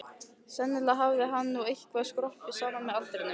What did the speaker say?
Sennilega hafði hann nú eitthvað skroppið saman með aldrinum.